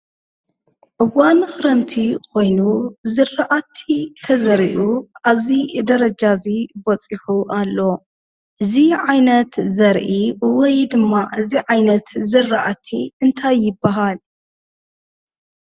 እዋን ክረምቲ ኮይኑ ዝርኣቲ ተዘሪኡ ኣብዚ ደረጃ እዚ በፂሑ ኣሎ፡፡ እዚ ዓይነት ዘርኢ ወይ ድማ እዚ ዓይነት ዝራእቲ እንታይ ይበሃል?